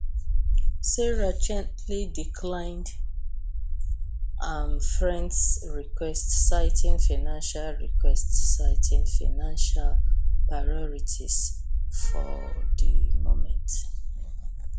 sarah gently declined am frens request citing financial request citing financial priorities for di moment